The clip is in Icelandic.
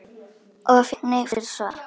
Og fékk nei fyrir svar?